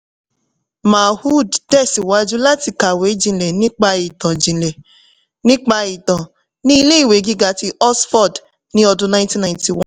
mahood tẹ̀síwájú láti kàwé jinlẹ̀ nípa ìtàn jinlẹ̀ nípa ìtàn ní ilé-ìwé gíga ti oxford ní ọdún ninety ninety one